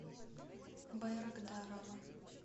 байрагдарова